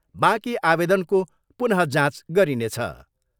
बाँकी आवेदनको पुन जाँच गरिनेछ।